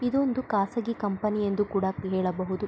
ಇದೊಂದು ಖಾಸಗಿ ಕಂಪನಿ ಎಂದು ಕೂಡ ಹೇಳಬಹುದು .